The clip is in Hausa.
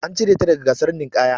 An cire ta daga gasar ninƙaya.